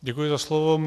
Děkuji za slovo.